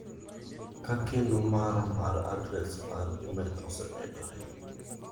Ka keno mara mar adres mar imel osemedore.